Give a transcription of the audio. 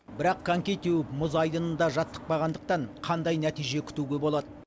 бірақ коньки теуіп мұз айдынында жаттықпағандықтан қандай нәтиже күтуге болады